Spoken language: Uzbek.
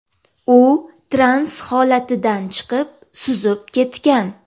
U trans holatidan chiqib, suzib ketgan.